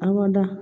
A ma da